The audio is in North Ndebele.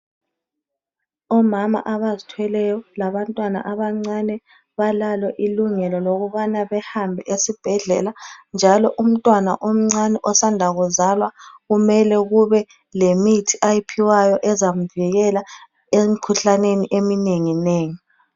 Omama abazithweleyo labantwana abancane balalo ilungelo lokubana behambe esibhedlela njalo umntwana omncane osanda kuzalwa kumele kube lemithi ayiphiwayo ezamvikela emikhuhlaneni eminenginengi.